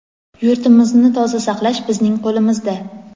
Yurtimizni toza saqlash bizning qo‘limizda.